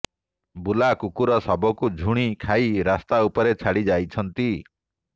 ବୁଲା କୁକୁର ଶବକୁ ଝୁଣି ଖାଇ ରାସ୍ତା ଉପରେ ଛାଡ଼ି ଯାଇଛନ୍ତି